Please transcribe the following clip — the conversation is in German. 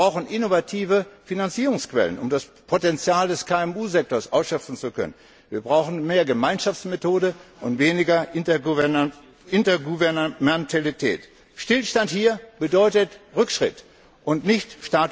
Wir brauchen innovative Finanzierungsquellen, um das Potenzial des KMU Sektors ausschöpfen zu können. Wir brauchen mehr Gemeinschaftsmethode und weniger Intergouvernementalität. Stillstand bedeutet hier Rückschritt und nicht